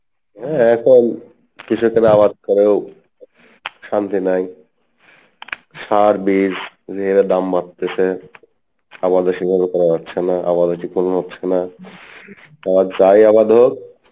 হ্যাঁ এখন কৃষকেরা আবাদ করেও শান্তি নাই সার বীজ যে হারে দাম বাড়তেসে আবাদও সেভাবে করা যাচ্ছে না হচ্ছে না তা যাই আবাদ হোক,